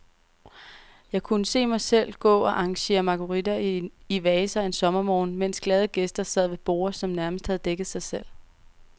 Jeg kunne se mig selv gå og arrangere marguritter i vaser en sommermorgen, mens glade gæster sad ved borde, som nærmest havde dækket sig selv.